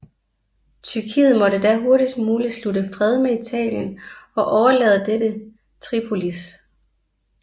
Tyrkiet måtte da hurtigst muligt slutte fred med Italien og overlade dette Tripolis